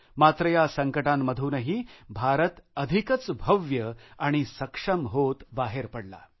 मात्र या संकटांमधूनही भारत अधिकच भव्य आणि सक्षम होत बाहेर पडला